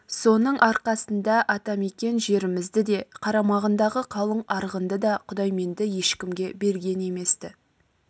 соның арқасында ата мекен жерімізді де қарамағындағы қалың арғынды да құдайменді ешкімге берген емес-ті